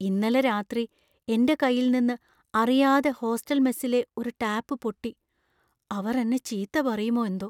ഇന്നലെ രാത്രി എന്‍റെ കൈയിൽ നിന്ന് അറിയാതെ ഹോസ്റ്റൽ മെസ്സിലെ ഒരു ടാപ്പ് പൊട്ടി , അവർ എന്നെ ചീത്ത പറയുമോ എന്തോ.